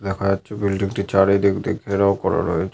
দেখা যাচ্ছে। বিল্ডিং টির চারিদিক দিয়ে ঘেরাও করা রয়েছে।